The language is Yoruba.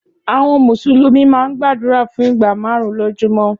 Áwòn Músúlùmi má n gbàdúrá fún igbá màárùn lójúmò